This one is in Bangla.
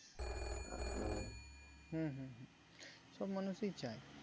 হম হম হম সব মানুষই চায়